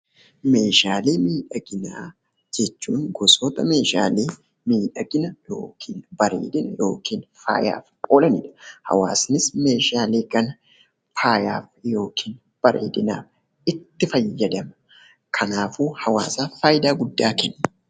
Meeshaalee miidhaginaa jechuun gosoota meeshaalee miidhagina (bareedina) yookiin faayaaf oolanii dha. Hawaasnis meeshaalee kana faayaaf (bareedinaaf) itti fayyadama. Kanaafuu, hawaasaaf faayidaa guddaa kennu.